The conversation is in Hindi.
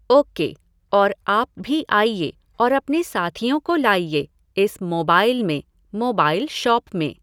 ओ के, और आप भी आइए और अपने साथियों को लाइए, इस मोबाइल में, मोबाइल शॉप में।